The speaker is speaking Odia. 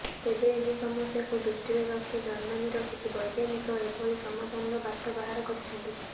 ତେବେ ଏହି ସମସ୍ୟାକୁ ଦୃଷ୍ଟିରେ ରଖି ଜର୍ମାନୀର କିଛି ବୈଜ୍ଞାନିକ ଏଭଳି ସମାଧାନର ବାଟ ବାହାର କରିଛନ୍ତି